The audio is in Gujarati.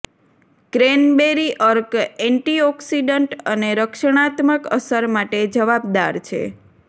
ક્રેનબૅરી અર્ક એન્ટીઑકિસડન્ટ અને રક્ષણાત્મક અસર માટે જવાબદાર છે